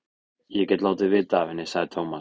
Ég get látið vita af henni, sagði Tómas.